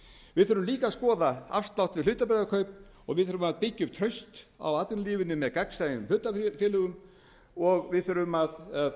við þurfum líka að skoða afstöðu okkar til hlutabréfakaupa og við þurfum að byggja upp traust á atvinnulífinu með gagnsæjum hlutafélögum og við þurfum að